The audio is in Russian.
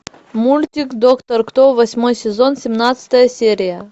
мультик доктор кто восьмой сезон семнадцатая серия